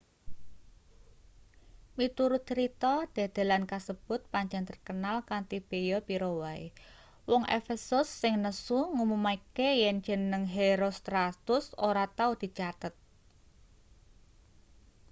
miturut crita dedelan kasebut pancen terkenal kanthi beya pira wae wong efesus sing nesu ngumumake yen jeneng herostratus ora tau dicathet